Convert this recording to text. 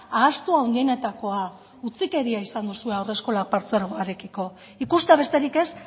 ahaztu handienetakoa da utzikeria izan duzue haurreskolak partzuegoarekiko ikustea besterik ez